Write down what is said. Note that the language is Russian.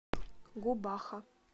губаха